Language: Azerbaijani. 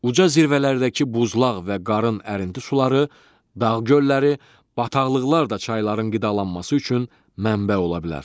Uca zirvələrdəki buzlaq və qarın ərinnti suları, dağ gölləri, bataqlıqlar da çayların qidalanması üçün mənbə ola bilər.